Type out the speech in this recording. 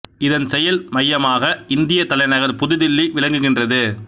இதன் செயல் மையமாக இந்தியத் தலைநகர் புது தில்லி விளங்குகின்றது